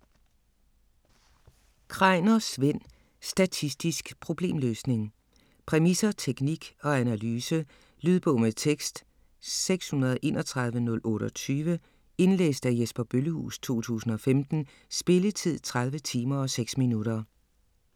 Kreiner, Svend: Statistisk problemløsning Præmisser, teknik og analyse. Lydbog med tekst 631028 Indlæst af Jesper Bøllehuus, 2015. Spilletid: 30 timer, 6 minutter.